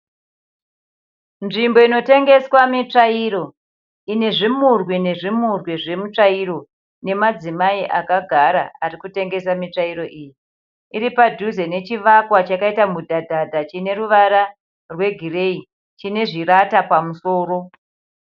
Nzvimbo inotengeswa mitsvairo. Ine zvimurwi nezvimurwi zvemitsvairo nemadzimai akagara ari kutengesa mitsvairo iyi. Iri padhuze nechivakwa chakaita mudhadhadha chine ruvara rwegireyi chine zvirata pamusoro.